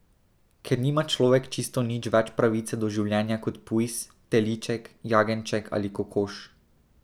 Ker nima človek čisto nič več pravice do življenja kot pujs, teliček, jagenjček ali kokoš.